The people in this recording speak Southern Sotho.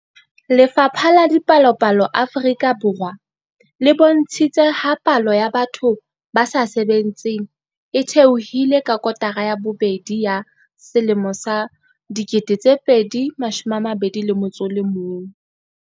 Lefapha la Dipalopalo Afrika Borwa le bontshitse ha palo ya batho ba sa sebetseng e theohile ka kotara ya bobedi ya 2021.